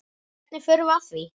Hvernig förum við að því?